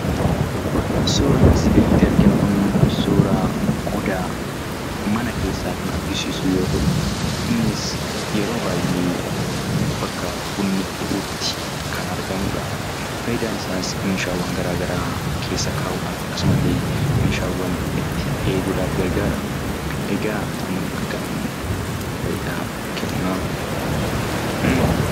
Suuraan asi gaditti arginu kun, suuraa qodaa Mana keessa kan agarsiisu yoo ta'u, innis yeroo baay'ee bakka bunni bu'utti kan argamudha. Faayidan isaas meeshaalee garaagaraa keessa kaa'uudhaaf, akkasumalle itti eeguudhaaaf gargara. Egaa kun akkamiin faayidaa kenna?